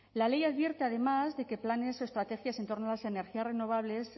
la ley advierte además de qué planes o estrategias en torno a las energías renovables